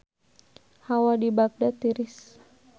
Hawa di Bagdad tiris